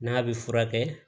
N'a bɛ furakɛ